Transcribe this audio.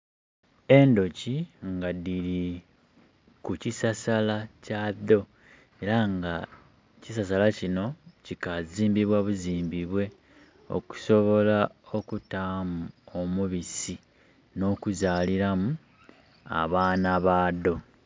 Endhoki nga dhiri ku kisasala kya dho era nga ekisasala kino kikazimbibwa buzimbibwe okusobola okutamu omubisi no kuzalilamu abaana badho.